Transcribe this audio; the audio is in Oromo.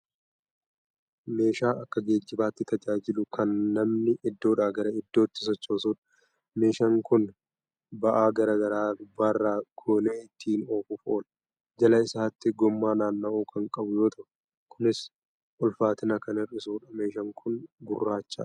Meeshaa Akka geejjibaatti tajaajilu Kan namni Iddoodhaa gara iddootti sochoosudha. meshaan kuni ba'a garagaraa gubbaarra goonee ittiin oofuuf oola. jala. isaatii gommaa naanna'u Kan qabu yoo ta'u Kunis ulfaatina Kan hir'isuudha. meeshaan Kun gurraachadha.